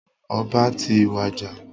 Ọba ti wàjà.